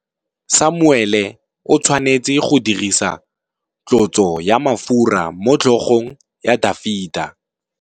Samuele o tshwanetse go dirisa tlotsô ya mafura motlhôgong ya Dafita.